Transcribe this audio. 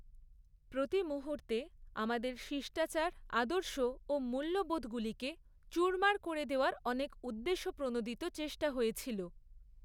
প্রতি মুহূর্তে আমাদের শিষ্টাচার, আদর্শ ও মূল্যবোধগুলিকে চূড়মার করে দেওয়ার অনেক উদ্দেশ্য প্রণোদিত চেষ্টা হয়েছিল।